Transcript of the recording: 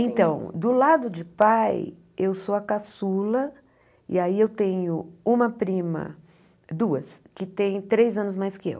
Então, do lado de pai, eu sou a caçula, e aí eu tenho uma prima, duas, que têm três anos mais que eu.